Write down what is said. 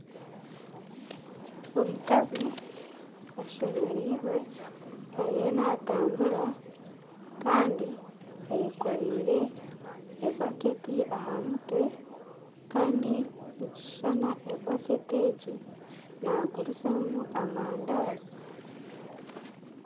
Omukazi ashemereirwe ,ariyo natambura Kandi ayekoreire ebaketi aha mutwe Kandi nikishushana ebaketi egyi nagurizamu amandaazi